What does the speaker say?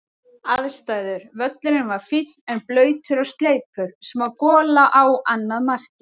Aðstæður: Völlurinn var fínn en blautur og sleipur, smá gola á annað markið.